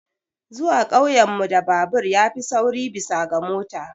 Zuwa ƙauyen mu da babur ya fi sauri bisa ga mota.